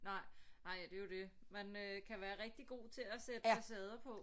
Nej nej det er jo det man øh kan være rigtig god til at sætte facader på